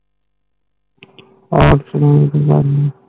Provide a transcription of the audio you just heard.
।